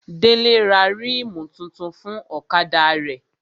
Délé ra rímù tuntun fún ọ̀kadà rẹ̀